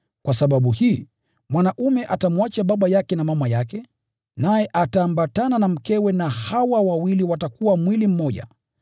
“Kwa sababu hii, mwanaume atamwacha baba yake na mama yake, naye ataambatana na mkewe, na hao wawili watakuwa mwili mmoja.”